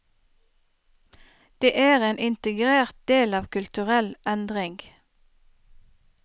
Det er en integrert del av kulturell endring.